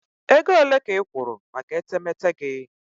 Ego ole ka ị kwụrụ maka etemeete gị?